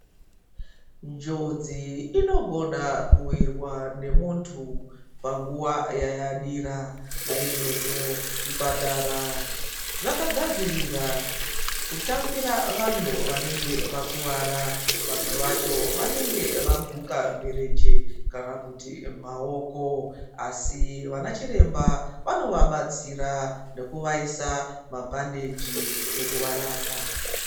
Njodzi inogona kuwirwa ngemuntu panguwa yayadira naizvozvo zvipatara zvakagadzirira kutambira vantu vanenge vakuwara. Vamwe vacho vanenge vaguka mirenje kana kuti maoko asi vanachiremba ,vanovabatsira ngekuvaisa mabhandichi nekuvarapa.